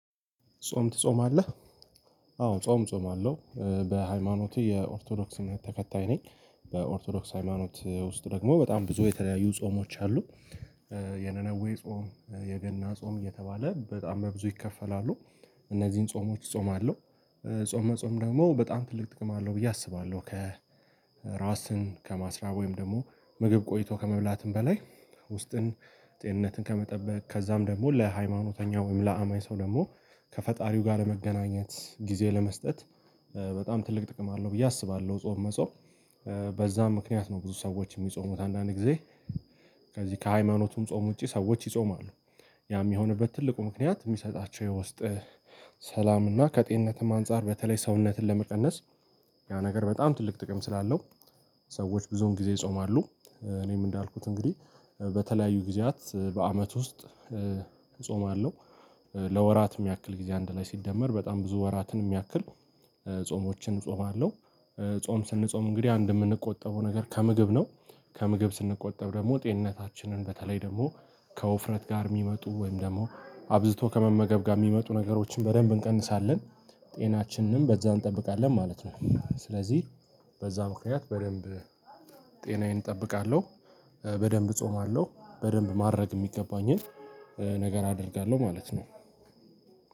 ጾም ትጾማለህ? አዎ ጾም ጾም አለው በሃይማኖቴ የኦርቶዶክስ እምነት ተከታይ ነኝ። በኦርቶዶክስ ሃይማኖት ውስጥ ደግሞ በጣም ብዙ የተለያዩ ጾሞች አሉ። የነነዌ ጾም፣ የገና ጾም እየተባለ በጣም በብዙ ይከፈላሉ። እነዚህን ጾሞች እጾማለሁ። ጾም መጾም ደግሞ በጣም ትልቅ ጥቅም አለው ብዬ አስባለሁ ከራስን ከማስራብ ወይም ደግሞ ምግብ ቆይቶ ከመብላትም በላይ ውስጥን ጤንነትን ከመጠበቅ ከዛም ደግሞ ለሃይማኖተኛ ወይም ለአማኝ ሰው ደግሞ ከፈጣሪው ጋር ለመገናኘት ጊዜ ለመስጠት በጣም ትልቅ ጥቅም አለው ብዬ አስባለሁ ጾም መጾም በዛም ምክንያት ነው ብዙ ሰዎች የሚጾሙት አንዳንዴ ጊዜ ከዚህ ከሃይማኖቱም ጾም ውጪ ሰዎች ይጾማሉ፣ ያም የሆነበት ትልቁ ምክንያት የሚሰጣቸው የውስጥ ሰላም እና ከጤንነትም አንፃር በተለይ ሰውነትን ለመቀነስ ያ ነገር በጣም ትልቅ ጥቅም ስላለው ሰዎች ብዙን ጊዜ ይጾማሉ እኔም እንዳልኩት እንግዲህ በተለያዩ ጊዜያት በአመት ውስጥ እጾማለሁ ለወራትም ያክል ጊዜ አንድ ላይ ሲደመር በጣም ብዙ ወራትን የሚያክል ጾሞችን እጾማለሁ። ጾም ስንጾም እንግዲህ አንድ የምንቆጠበው ነገር ከምግብ ነው ከምግብ ስንቆጠብ ደግሞ ጤንነታችንን በተለይ ደግሞ ከውፍረት ጋር የሚመጡ ወይም ደግሞ አብዝቶ ከመመገብ ጋር የሚመጡ ነገሮችን በደንብ እንቀንሳለን፣ ጤናችንንም በዛ እንጠብቃለን ማለት ነው፤ ስለዚህ በዛ ምክንያት በደንብ ጤናዬን እጠብቃለሁ፣ በደንብ እጾማለሁ፣ በደንብ ማድረግ የሚገባኝን ነገር አደርጋለሁ ማለት ነው።